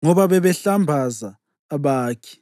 ngoba bebehlambaza abakhi.